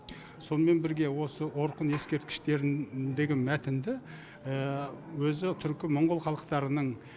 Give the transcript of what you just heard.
сонымен бірге осы орхон ескерткіштеріндегі мәтінді өзі түркі монғол халықтарының